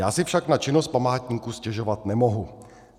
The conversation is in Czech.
Já si však na činnost památníku stěžovat nemohu.